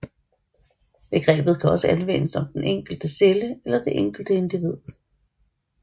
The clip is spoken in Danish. Begrebet kan også anvendes om den enkelte celle eller det enkelte individ